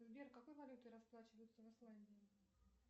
сбер какой валютой расплачиваются в исландии